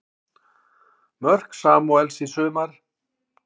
Mörk Samúels í sumar